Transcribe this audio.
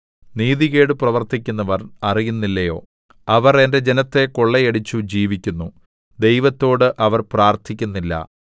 നീതികേട് പ്രവർത്തിക്കുന്നവർ അറിയുന്നില്ലയോ അവർ എന്റെ ജനത്തെ കൊള്ളയടിച്ചു ജീവിക്കുന്നു ദൈവത്തോട് അവർ പ്രാർത്ഥിക്കുന്നില്ല